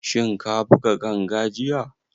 Shin ka buga ganga jiya?